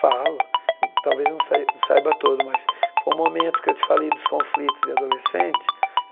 Falo, talvez não sai não saiba todo, mas foi o momento em que eu te falei dos conflitos de adolescente.